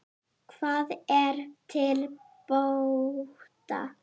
Hvað er til bóta?